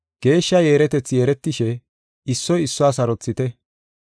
Geeshsha yeeretethi yeeretishe, issoy issuwa sarothite.